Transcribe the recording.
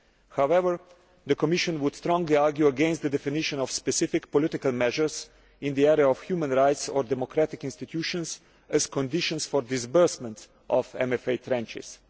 However, the Commission would strongly argue against the definition of specific political measures in the area of human rights or democratic institutions as conditions for the disbursement of MFA tranches.